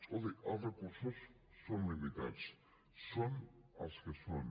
escolti els recursos són limitats són els que són